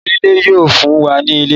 oniilẹ̀ yíò fún wá ní ilẹ̀.